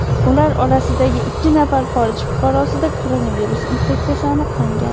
Ular orasidagi ikki nafar xorij fuqarosida koronavirus infeksiyasi aniqlangan.